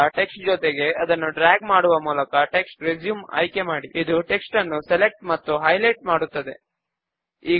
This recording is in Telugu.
ల్ట్పాజెగ్ట్ ఫాంట్స్ ను ఏరియల్ బోల్డ్ మరియు సైజ్ 8 కు మారుద్దాము